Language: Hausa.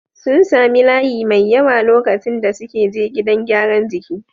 Sun sami layi mai yawa lokacin da suke je gidan gyaran jiki.